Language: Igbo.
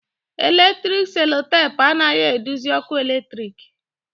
Eletrik selotapu anaghị eduzi ọkụ eletrik